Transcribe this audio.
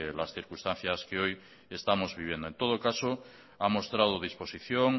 las circunstancias que hoy estamos viviendo en todo caso ha mostrado disposición